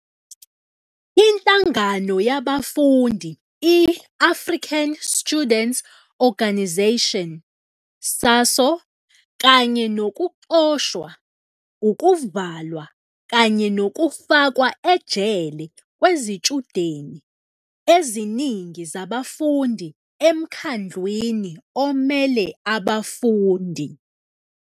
Inhlangano yabafundi i-African Student Organisation, SASO, kanye nokuxoshwa, ukuvalwa kanye nokufakwa ejele kwezitshudeni eziningi zabafundi eMkhandlwini Omele Abafundi.